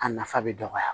A nafa bɛ dɔgɔya